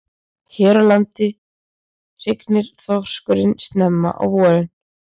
Hér á landi hrygnir þorskurinn snemma á vorin.